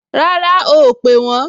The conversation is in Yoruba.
Rárá o ò pè wọ́n